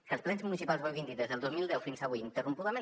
que els plens municipals ho hagin dit des del dos mil deu fins avui interrompudament